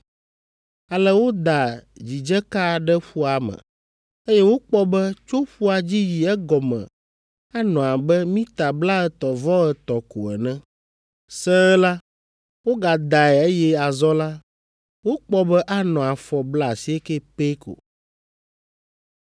Ale woda dzidzeka ɖe ƒua me, eye wokpɔ be tso ƒua dzi yi egɔme anɔ abe mita blaetɔ̃-vɔ-etɔ̃ ko ene. Sẽe la, wogadae eye azɔ la, wokpɔ be anɔ afɔ blaasiekɛ pɛ ko.